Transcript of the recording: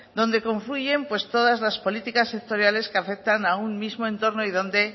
donde confluyen todas las políticas sectoriales que afectan a un mismo entorno y donde